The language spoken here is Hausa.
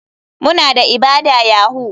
Muna da ibada yahoo.